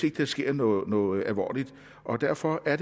ikke sker noget noget alvorligt derfor er